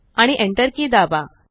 आणि Enter key दाबा